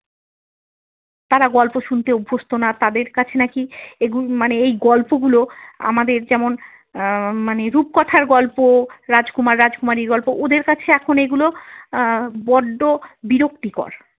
তাঁরা গল্প শুনতে অভ্যস্ত না তাদের কাছে নাকি এই উম মানে এই গল্পগুলো আমাদের যেমন আহ মানে রূপকথার গল্প রাজকুমার রাজকুমারীর গল্প ওদের কাছে এখন এগুলো আহ বড্ড বিরক্তিকর।